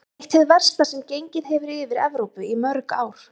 Eitt hið versta sem gengið hefur yfir Evrópu í mörg ár.